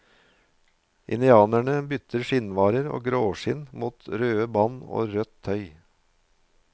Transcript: Indianerne byttet skinnvarer og gråskinn mot røde band og rødt tøy.